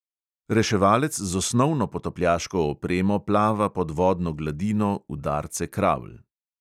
Reševalec z osnovno potapljaško opremo plava pod vodno gladino udarce kravl.